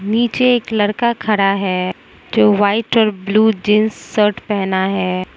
नीचे एक लड़का खड़ा है जो व्हाइट और ब्लू जींस शर्ट पहना है।